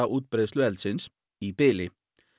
útbreiðslu eldsins í bili